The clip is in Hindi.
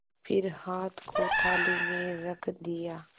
फिर हाथ को थाली में रख दिया